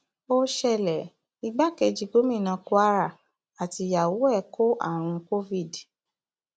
ó ṣẹlẹ igbákejì gómìnà kwara àtìyàwó ẹ kó àrùn covid